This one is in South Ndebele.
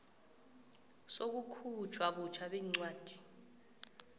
sokukhutjhwa butjha kwencwadi